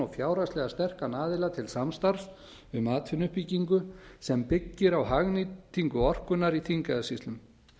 fjárhagslega sterkan aðila til samstarfs um atvinnuuppbyggingu sem byggir á hagnýtingu orkunnar í þingeyjarsýslum